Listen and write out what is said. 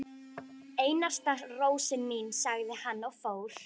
Einasta rósin mín, sagði hann og fór.